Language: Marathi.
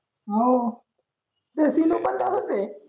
आहो पण तसाच आहे